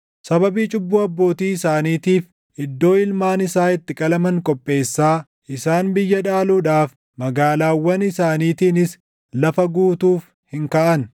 Sababii cubbuu abbootii isaaniitiif iddoo ilmaan isaa itti qalaman qopheessaa; isaan biyya dhaaluudhaaf, magaalaawwan isaaniitiinis lafa guutuuf hin kaʼan.